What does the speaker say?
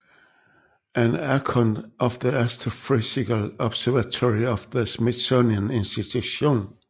An Account of the Astrophysical Observatory of the Smithsonian Institution